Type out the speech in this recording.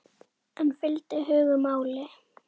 En fylgdi hugur máli?